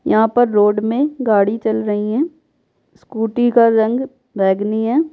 यहाँ पर रोड में गाड़ी चल रही हैं स्कूटी का रंग बैंगनी है।